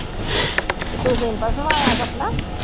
ਤੇ ਤੂੰ ਸਿੰਪਲ ਸਵਾਯਾ ਸਪਨਾ